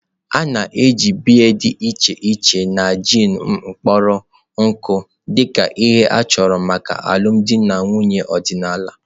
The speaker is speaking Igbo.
A na-eji biya dị iche iche na gin kpọrọ nkụ dị ka ihe a chọrọ maka alụmdi na nwunye ọdịnala.